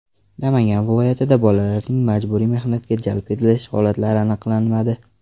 Namangan viloyatida bolalarning majburiy mehnatga jalb etish holatlari aniqlanmadi.